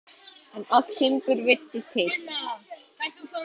En allt timbur virtist heilt.